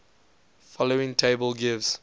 following table gives